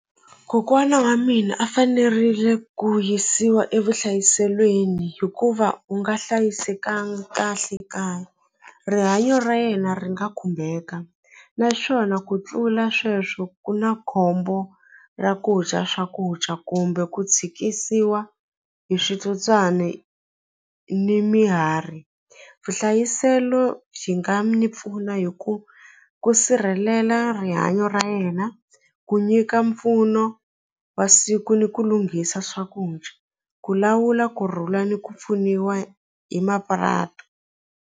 Kokwana wa mina a fanerile ku yisiwa evuhlayiselweni hikuva u nga hlayisekanga kahle kaya rihanyo ra yena ri nga khumbeka naswona ku tlula sweswo ku na khombo ra ku dya swakudya kumbe ku tshikisiwa hi switsotswani ni vuhlayiselo byi nga mi pfuna hi ku ku sirhelela rihanyo ra yena ku nyika mpfuno wa siku ni ku lunghisa swakudya ku lawula kurhula ni ku pfuniwa hi .